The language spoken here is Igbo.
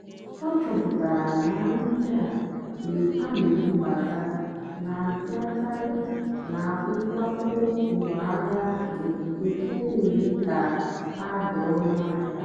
ọ́ chọ́pụ́tárá nà nrì ndí á nà-èbúbátá nà-àbịákàrị́ nà nkwákó ngwáàhịá nkè nà-èmékà hà dì́ ónú àhịá.